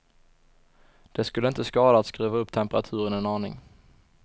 Det skulle inte skada att skruva upp temperaturen en aning.